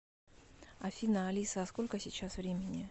афина алиса а сколько сейчас времени